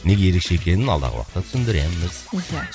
неге ерекше екенін алдағы уақытта түсіндіреміз иә